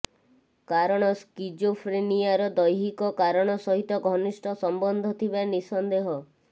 କାରଣ ସ୍କିଜୋଫ୍ରେନିଆର ଦୈହିକ କାରଣ ସହିତ ଘନିଷ୍ଠ ସମ୍ବନ୍ଧ ଥିବା ନିଃସନ୍ଦେହ